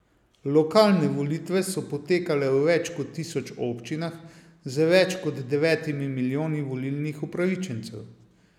Lokalne volitve so potekale v več kot tisoč občinah z več kot devetimi milijoni volilnih upravičencev.